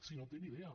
si no en té ni idea